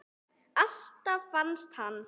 Alltaf fannst hann.